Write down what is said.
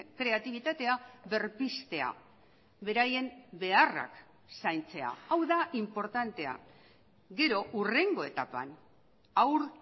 kreatibitatea berpiztea beraien beharrak zaintzea hau da inportantea gero hurrengo etapan haur